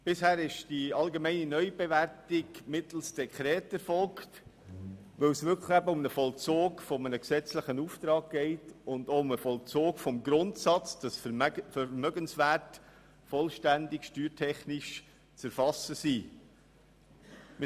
Bisher erfolgte die allgemeine Neubewertung mittels Dekret, weil es wirklich um den Vollzug eines gesetzlichen Auftrags und des Grundsatzes geht, wonach Vermögenswerte steuertechnisch vollständig zu erfassen sind.